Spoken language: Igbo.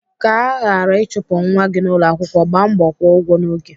Ka aghara ịchụpụ nwa gị n'ụlọakwụkwọ, gbaa mbọ kwụọ ụgwọ n'oge.